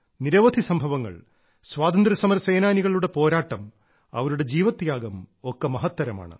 നിരവധി സംഭവങ്ങൾ സ്വാതന്ത്ര്യ സമരസേനാനികളുടെ പോരാട്ടം അവരുടെ ജീവത്യാഗം ഒക്കെ മഹത്തരമാണ്